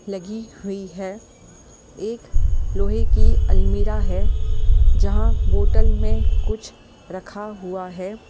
लगी हुई है एक लोहे की अलमीरा है जहाँ बोतल में कुछ रखा हुआ है।